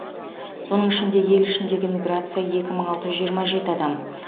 соның ішінде ел ішіндегі миграция екі мың алты жүз жиырма жеті адам